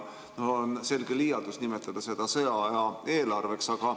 On selge liialdus nimetada seda sõjaaja eelarveks.